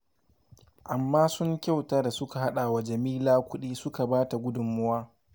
Amma sun kyauta da suka haɗa wa Jamila kuɗi suka ba ta gudunmawa